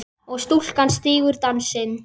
og stúlkan stígur dansinn